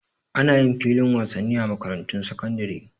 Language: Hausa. Ana yin filin wasanni a makarantun sakandare